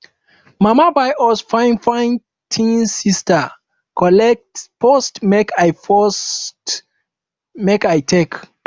mama buy us fine fine thingssister collect first make i first make i take